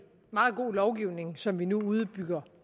meget god lovgivning som vi nu udbygger